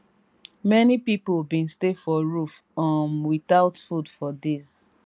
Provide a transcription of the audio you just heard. many pipo bin stay for roof um witout food for days